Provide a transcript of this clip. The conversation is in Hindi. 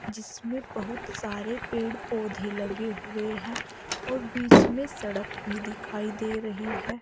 जिसमें बहुत सारे पेड़ पौधे लगे हुए हैं और बीच में सड़क भी दिखाई दे रही है।